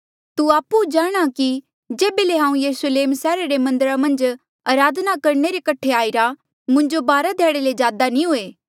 तू आपु जाणहां कि जेबे ले हांऊँ यरुस्लेम सैहरा रे मन्दरा मन्झ अराधना करणे रे कठे आईरा मुंजो बारा ध्याड़े ले ज्यादा नी हुए